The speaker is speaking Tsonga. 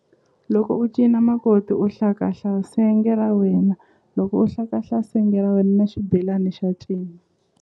Loko u cina makoti u hlakahla senge ra wena loko u hlakahla senge ra wena na xibelani xa cina.